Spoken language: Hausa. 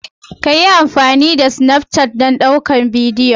Ka yi amfani da Snafcat don ɗaukar bidiyon?